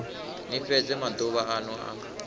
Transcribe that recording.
ni fhedze maduvha anu a